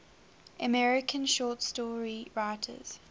american short story writers